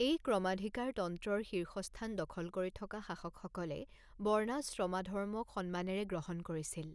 এই ক্ৰমাধিকাৰতন্ত্ৰৰ শীৰ্ষস্থান দখল কৰি থকা শাসকসকলে বৰ্ণাশ্ৰমাধৰ্মক সন্মানেৰে গ্ৰহণ কৰিছিল।